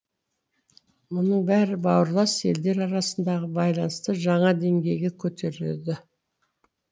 мұның бәрі бауырлас елдер арасындағы байланысты жаңа деңгейге көтереді